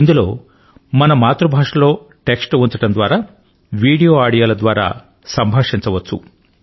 ఇందులో మన మాతృభాష లో టెక్స్ట్ ను ఉంచడం ద్వారా వీడియో లు ఇంకా ఆడియో ల ద్వారా సంభాషించవచ్చు